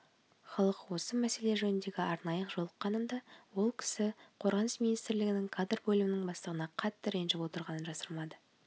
халық осы мәселе жөнінде арнайы жолыққанымда ол кісі қорғаныс министірлігінің кадр бөлімінің бастығына қатты ренжіп отырғанын жасырмады